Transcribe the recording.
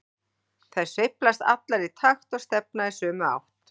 Þær sveiflast allar í takt og stefna í sömu átt.